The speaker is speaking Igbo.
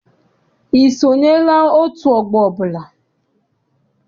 I sonyela otu ọgbọ ọbụla?